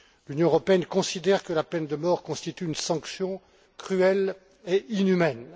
L'Union Européenne considère que la peine de mort constitue une sanction cruelle et inhumaine.